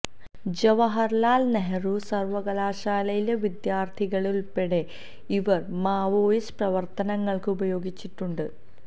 ജവഹർലാൽ നെഹ്റു സർവകലാശാലയിലെ വിദ്യാർത്ഥികളെ ഉൾപ്പെടെ ഇവർ മാവോയിസ്റ്റ് പ്രവർത്തനങ്ങൾക്ക് ഉപയോഗിച്ചിട്ടുണ്ട്